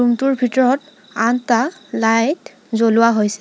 Room টোৰ ভিতৰত আঠটা লাইট জ্বলোৱা হৈছে।